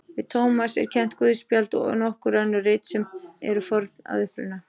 Við Tómas er kennt guðspjall og nokkur önnur rit sem eru forn að uppruna.